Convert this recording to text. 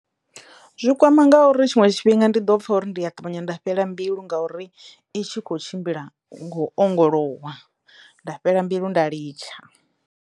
Zwi kwama ngauri tshiṅwe tshifhinga ndi ḓo pfha uri ndi a ṱavhanya nda fhela mbilu ngauri itshi kho tshimbila ngo ongolowa nda fhela mbilu nda litsha.